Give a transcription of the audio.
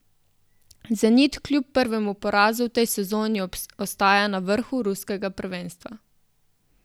Zenit kljub prvemu porazu v tej sezoni ostaja na vrhu ruskega prvenstva.